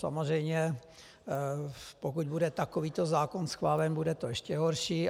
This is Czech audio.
Samozřejmě pokud bude takovýto zákon schválen, bude to ještě horší.